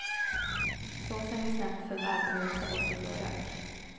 Såsen blir snabbt för varm och osar bort i blå rök.